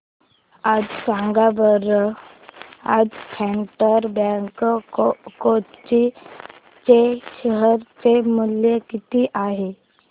सांगा बरं आज फेडरल बँक कोची चे शेअर चे मूल्य किती आहे